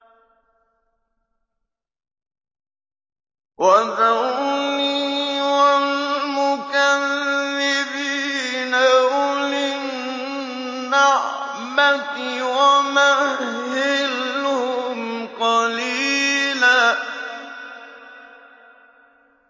وَذَرْنِي وَالْمُكَذِّبِينَ أُولِي النَّعْمَةِ وَمَهِّلْهُمْ قَلِيلًا